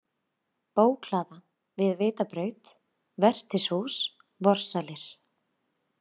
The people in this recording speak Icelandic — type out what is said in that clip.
Bókhlaða, Við Vitabraut, Vertshús, Vorsalir